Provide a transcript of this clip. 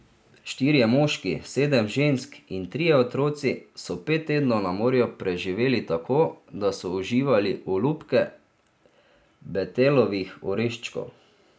Štirje moški, sedem žensk in trije otroci so pet tednov na morju preživeli tako, da so uživali olupke betelovih oreščkov.